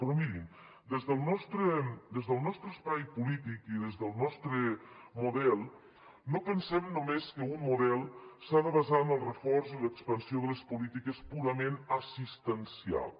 però mirin des del nostre espai polític i des del nostre model no pensem només que un model s’ha de basar en el reforç i l’expansió de les polítiques purament assistencials